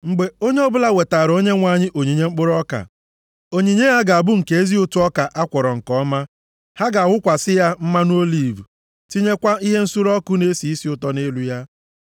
“ ‘Mgbe onye ọbụla wetaara Onyenwe anyị onyinye mkpụrụ ọka, onyinye ya ga-abụ nke ezi ụtụ ọka a kwọrọ nke ọma. Ha ga-awụkwasị ya mmanụ oliv, tinyekwa ihe nsure ọkụ na-esi isi ụtọ nʼelu ya,